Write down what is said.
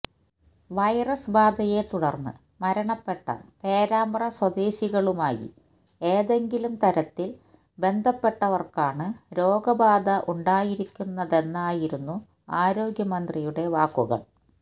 virus ബാധയെ തുടര്ന്ന് മരണപ്പെട്ട പേരാമ്പ്ര സ്വദേശികളുമായി ഏതെങ്കിലും തരത്തില് ബന്ധപ്പെട്ടവര്ക്കാണ് രോഗബാധയുണ്ടായിരിക്കുന്നതെന്നായിരുന്നു ആരോഗ്യമന്ത്രിയുടെ വാക്കുകള്